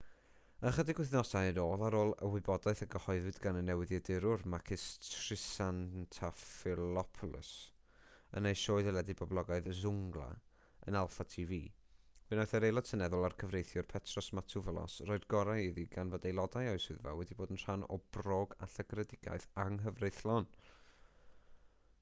ychydig wythnosau yn ôl ar ôl y wybodaeth a gyhoeddwyd gan y newyddiadurwr makis triantafylopoulos yn ei sioe deledu boblogaidd zoungla yn alpha tv fe wnaeth yr aelod seneddol a'r cyfreithiwr petros matouvalos roi'r gorau iddi gan fod aelodau o'i swyddfa wedi bod yn rhan o bròg a llygredigaeth anghyfreithlon